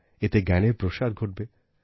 এতে জ্ঞানের প্রসার ঘটবে